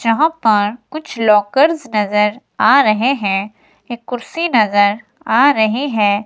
यहां पर कुछ लॉकर्स नजर आ रहे हैं एक कुर्सी नजर आ रही है।